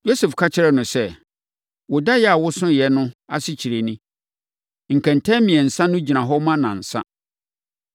Yosef ka kyerɛɛ no sɛ, “Wo daeɛ a wosoeɛ no asekyerɛ ni. Nkɛntɛn mmiɛnsa no gyina hɔ ma nnansa.